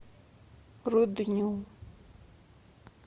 рудню